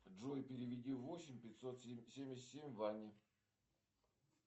джой переведи восемь пятьсот семьдесят семь ване